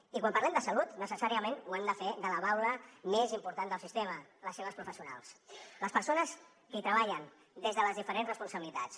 i quan parlem de salut necessàriament ho hem de fer de la baula més important del sistema les seves professionals les persones que hi treballen des de les diferents responsabilitats